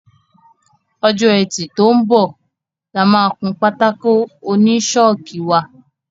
Ọjọ́ Ẹtì tó ń bọ̀ la máa kun pátákó oní ṣọ́ọ̀kì wa.